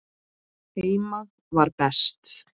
Heima var best.